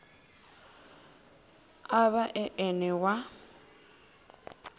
a vha e ene wa